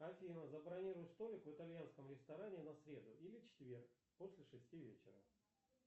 афина забронируй столик в итальянском ресторане на среду или четверг после шести вечера